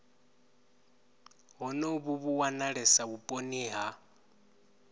honovhu vhu wanalesa vhuponi ha